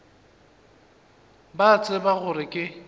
ba a tseba gore ke